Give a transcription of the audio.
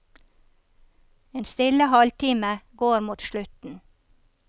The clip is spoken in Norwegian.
En stille halvtime går mot slutten.